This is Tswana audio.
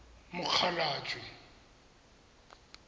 mokgalajwe